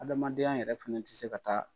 Adamadenya yɛrɛ fana tɛ se ka taa